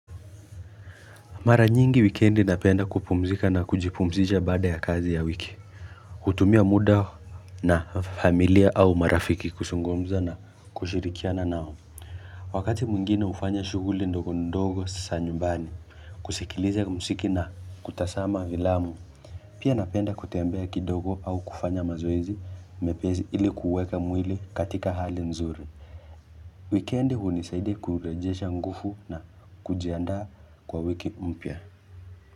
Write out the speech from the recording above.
Mara nyingi wikendi napenda kupumzika na kujipumzisha baada ya kazi ya wiki hutumia muda na familia au marafiki kuzungumza na kushirikiana nao Wakati mwingine hufanya shughuli ndogo ndogo za nyumbani kusikiliza muziki na kutazama filamu Pia napenda kutembea kidogo au kufanya mazoezi mepesi ili kuweka mwili katika hali nzuri Wikendi hunisaidia kurejesha nguvu na kujiandaa kwa wiki mpya.